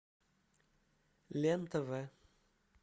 лен тв